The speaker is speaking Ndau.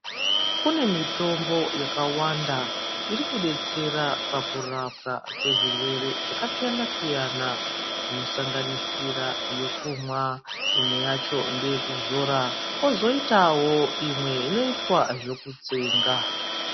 Kune mitombo yakawanda iri detsera pakurapwa kwezvirwere zvaka siyana aiyana, ino sanganisira yokumwa, imwe yacho ndeye kuzoro, kwozoitawo imwe inoitwa zvekutsenga.